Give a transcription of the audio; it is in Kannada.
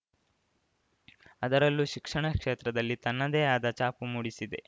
ಅದರಲ್ಲೂ ಶಿಕ್ಷಣ ಕ್ಷೇತ್ರದಲ್ಲಿ ತನ್ನದೇ ಆದ ಛಾಪು ಮೂಡಿಸಿದೆ